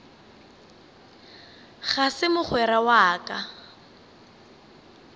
ga se mogwera wa ka